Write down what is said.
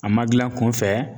A ma gilan kun fɛ